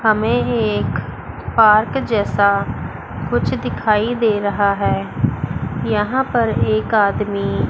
हमें एक पार्क जैसा कुछ दिखाई दे रहा है यहां पर एक आदमी --